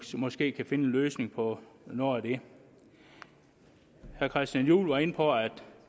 måske kan finde en løsning på noget af det herre christian juhl var inde på at